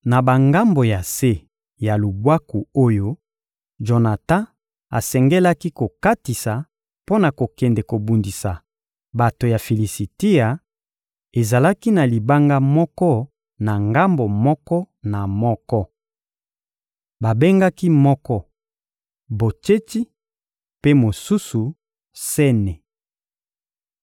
Na bangambo ya se ya lubwaku oyo Jonatan asengelaki kokatisa mpo na kokende kobundisa bato ya Filisitia, ezalaki na libanga moko na ngambo moko na moko. Babengaki moko Botsetsi, mpe mosusu, Sene.